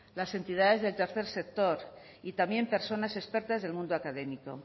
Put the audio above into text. las entidades del tercer sector y también personas expertas del mundo académico